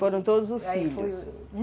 Foram todos os filhos?